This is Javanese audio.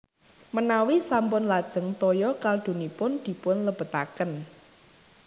Menawi sampun lajeng toya kaldunipun dipun lebetaken